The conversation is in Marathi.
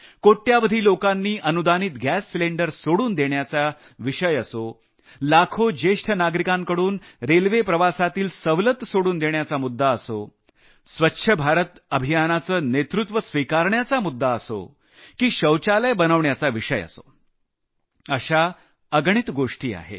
कोट्यवधी लोकांनी अनुदानित गॅस सिलिंडर सोडून देण्याचा विषय असो लाखो ज्येष्ठ नागरिकांकडून रेल्वे प्रवासातील सवलत सोडून देण्याचा मुद्दा असो स्वच्छ भारत अभियानाचं नेतृत्व स्विकारण्याचा विषय असो की शौचालय बनवण्याचा विषय असो अशा अगणित गोष्टी आहेत